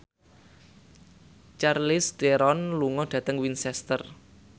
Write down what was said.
Charlize Theron lunga dhateng Winchester